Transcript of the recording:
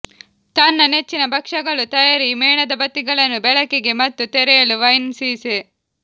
ತನ್ನ ನೆಚ್ಚಿನ ಭಕ್ಷ್ಯಗಳು ತಯಾರಿ ಮೇಣದಬತ್ತಿಗಳನ್ನು ಬೆಳಕಿಗೆ ಮತ್ತು ತೆರೆಯಲು ವೈನ್ ಸೀಸೆ